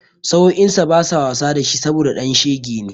Sa'o'insa basa wasa da shi saboda ɗan shege ne.